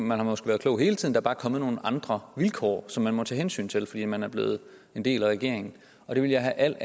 man har måske været klog hele tiden der er bare kommet nogle andre vilkår som man må tage hensyn til fordi man er blevet en del af regeringen og det vil jeg have al